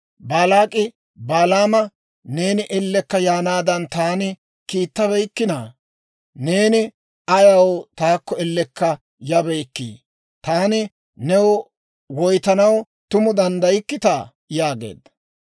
Baalaak'i Balaama, «Neeni ellekka yaanaadan taani kiittabeykkittaa? Neeni ayaw taakko ellekka yabeykkii? Taani new woytanaw tumu danddaykkitaa?» yaageedda.